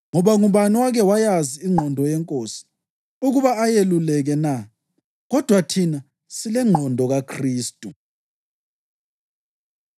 ngoba, “Ngubani owake wayazi ingqondo yeNkosi ukuba ayeluleke na?” + 2.16 U-Isaya 40.13 Kodwa thina silengqondo kaKhristu.